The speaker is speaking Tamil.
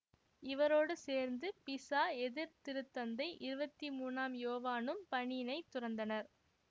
இவரோடு சேர்ந்து பிசா எதிர்திருத்தந்தை இருபத்தி மூனாம் யோவானும் பணியினை துறந்தனர்